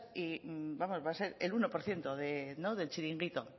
y va a ser el uno por ciento del chiringuito